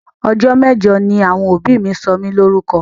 Ọjọ́ mẹ́jọ ni àwọn òbí mi sọ mí Lórúkọ